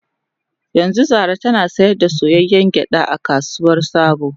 Yanzu Zara tana sayar da soyayyen gyada a kasuwar sabo